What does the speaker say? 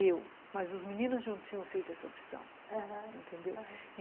Eu, mas os meninos não tinham feito essa opção, aham, entendeu? aham